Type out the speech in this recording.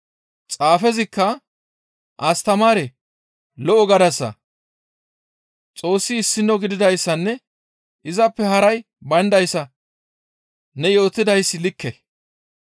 Xaafezikka, «Astamaaree! Lo7o gadasa, ‹Xoossi issino gididayssanne izappe haray bayndayssa› ne yootidayssi likke.